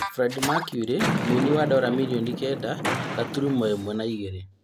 Freddie Mercury mũini wa Dora mirioni kenda gaturumo ĩmwe na igĩrĩ